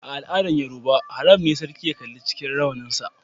A'aladan Yorubawa, haram ne sarki ya kalla cikin rawanin sa.